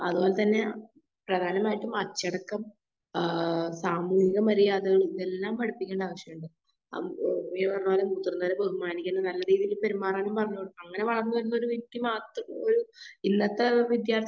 അതുപോലെ തന്നെ പ്രധാനമായിട്ടും അച്ചടക്കം ആഹ് സാമൂഹ്യ മര്യാദ എല്ലാം പഠിപ്പിക്കേണ്ട ആവശ്യണ്ട്. ബഹുമാനിക്കാനും നല്ല രീതിയിൽ പെരുമാറാനും പറഞ്ഞുകൊടുക്കണം. അങ്ങനെ വളർന്ന് വരുന്ന ഒരു വ്യക്തി മാത്രേ ഒരു ഇന്നത്തെ ഒരു വിദ്യാർത്ഥി